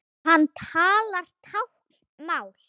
Hann talar táknmál.